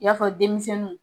I na fɔ denmisɛnninw